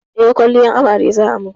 Eh, kwalliyar amare za a min